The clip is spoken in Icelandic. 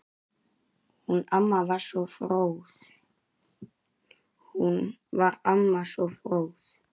Hún var amma, svo fróð.